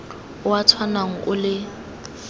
o o tshwanang o le